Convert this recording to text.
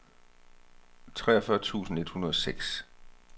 treogfyrre tusind et hundrede og seks